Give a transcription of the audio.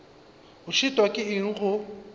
o šitwa ke eng go